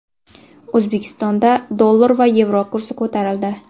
O‘zbekistonda dollar va yevro kursi ko‘tarildi.